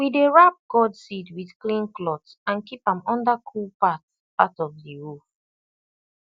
we dey wrap gourd seed with clean cloth and keep am under cool part part of the roof